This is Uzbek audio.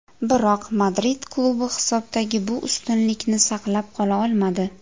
Biroq Madrid klubi hisobdagi bu ustunlikni saqlab qola olmadi.